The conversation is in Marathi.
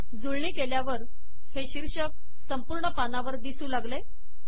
जुळणी केल्यावर हे शीर्षक संपूर्ण पानावर दिसू लागले